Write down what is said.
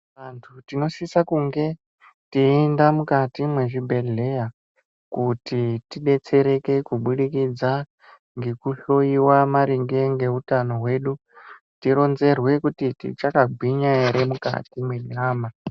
Vantu tinosisa kunge teyienda mukati mwezvibhedhleya kuti tidetsereke kubudikidza ngekuhloyiwa maringe ngeutano hwedu tironzerwe kuti tichakagwinya ere mukati mwenyama.